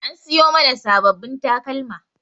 An siyo mana sabbabin takalma.